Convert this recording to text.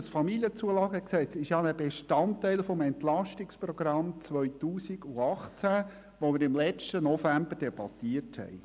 Das KFamZG ist ein Bestandteil des EP 18, welches wir im letzten November debattierten.